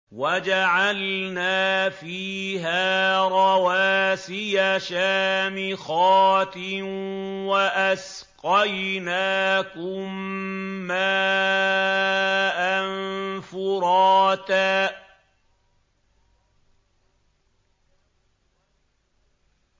وَجَعَلْنَا فِيهَا رَوَاسِيَ شَامِخَاتٍ وَأَسْقَيْنَاكُم مَّاءً فُرَاتًا